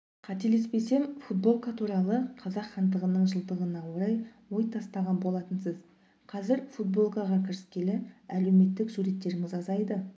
қателеспесем футболка туралы қазақ хандығының жылдығына орай ой тастаған болатынсыз қазір футболкаға кіріскелі әлеуметтік суреттеріңіз азайды